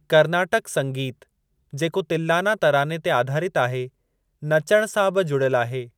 कर्नाटक संगीत जेको तिल्‍लाना तराने ते आधारितु आहे, नचणु सां बि जुड़ियलु आहे।